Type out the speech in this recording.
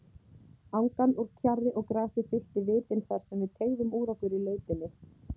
Angan úr kjarri og grasi fyllti vitin þarsem við teygðum úr okkur í lautinni.